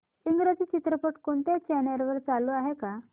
इंग्रजी चित्रपट कोणत्या चॅनल वर चालू आहे का